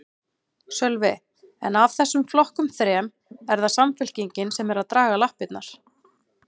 Sölvi: En af þessum flokkum þrem, er það Samfylkingin sem er að draga lappirnar?